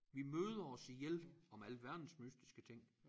Vi møder os ihjel med alverdens mystiske ting